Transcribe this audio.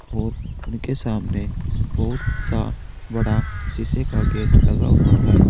और उनके सामने बहुत सा बड़ा शीशे का गेट लगा हुआ है।